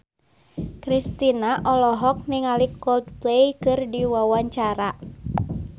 Kristina olohok ningali Coldplay keur diwawancara